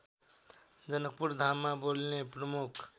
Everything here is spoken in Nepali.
जनकपुरधाममा बोलिने प्रमुख